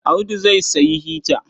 Audu zai sayi hita.